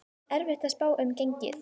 Erfitt að spá um gengið